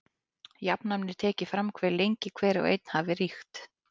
Jafnan er tekið fram hve lengi hver og einn hafi ríkt.